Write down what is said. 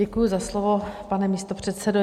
Děkuji za slovo, pane místopředsedo.